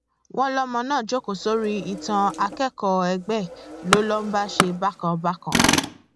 wọn lọmọ náà jókòó sórí ìtàn akẹkọọ ẹgbẹ ẹ ló ló bá ń ṣe bákan bákan